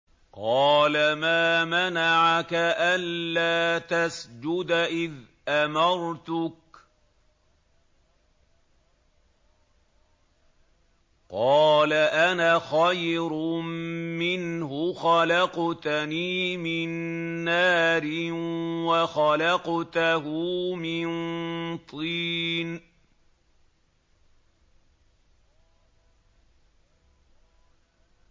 قَالَ مَا مَنَعَكَ أَلَّا تَسْجُدَ إِذْ أَمَرْتُكَ ۖ قَالَ أَنَا خَيْرٌ مِّنْهُ خَلَقْتَنِي مِن نَّارٍ وَخَلَقْتَهُ مِن طِينٍ